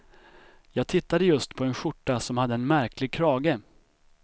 Jag tittade just på en skjorta som hade en märklig krage.